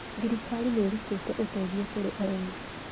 Thirikari nĩĩrutĩte ũteithio kũri arĩmi